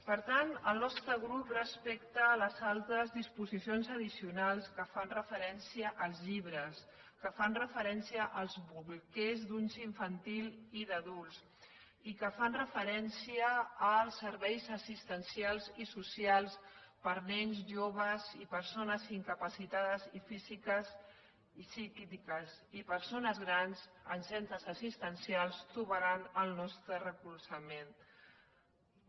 per tant el nostre grup respecte a les altres disposicions addicionals que fan referència als llibres que fan referència als bolquers d’ús infantil i d’adults i que fan referència als serveis assistencials i social per a nens joves i persones incapacitades físiques i psíquiques i persones grans en centres assistencials trobaran el nostre suport